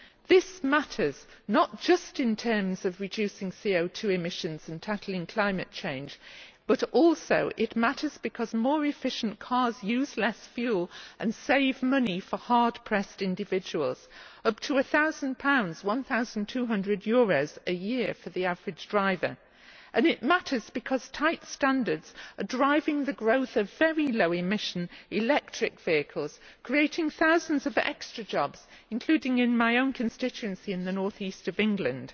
This matters, not just in terms of reducing CO 2 emissions and tackling climate change, but also because more efficient cars use less fuel and save money for hard pressed individuals up to a thousand pounds a year for the average driver. It also matters because tight standards are driving the growth of very low emission electric vehicles, creating thousands of extra jobs, including in my own constituency in the North East of England.